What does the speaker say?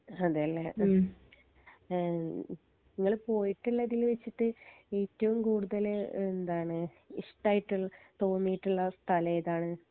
അതെ ലെ ഏഹ്മ് ഇങ്ങള് പോയിട്ട്ള്ളതിൽ വെച്ചിട്ട് ഏറ്റവും കൂടുതൽ എന്താണ് ഇഷ്ട്ടായിട്ട്ളെ തോന്നിട്ട്ള്ള സ്ഥല ഏതാണ്